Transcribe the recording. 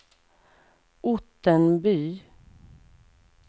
Ottenby